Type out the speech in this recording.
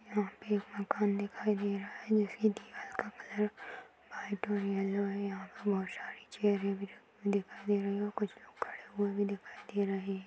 यहाँ पे एक मकान दिखाई दे रहा है जिसकी दीवाल का कलर व्हाइट और येलो है कुछ लोग खड़े हुए भी दिखाई दे रहे हैं।